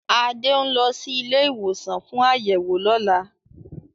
Adé ń lọ sí ilé-ìwòsàn fún àyẹ̀wò lọ́la.